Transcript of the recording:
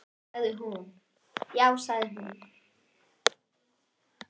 Já sagði hún.